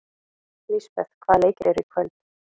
Lisbeth, hvaða leikir eru í kvöld?